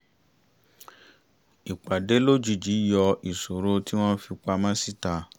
ipade lojiji yọ isoro ti wọn fi pamọ sita